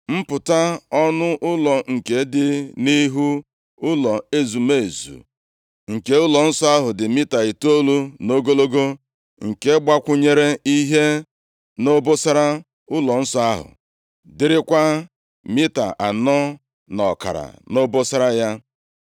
Mpụta ọnụ ụlọ nke dị nʼihu ụlọ ezumezu nke ụlọnsọ ahụ dị mita itoolu nʼogologo nke gbakwunyere ihe nʼobosara ụlọnsọ ahụ, dịrịkwa mita anọ na ọkara nʼobosara ya.